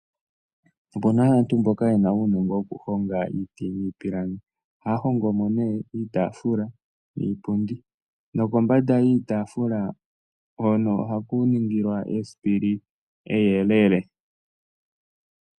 Aantu mboka yena uunongo wo ku honga iiti niipilangi, ohaya hongo mo nee iitaafula niipundi, nokombanda yiitafula oha ku ningilwa iisipili iiyelele.